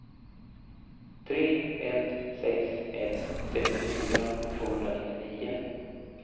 tre ett sex ett sextiofyra tvåhundranittionio